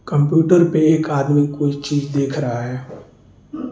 Computer पे एक आदमी कोई चीज देख रहा है।